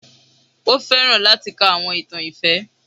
O fẹran lati ka awọn itan ifẹ.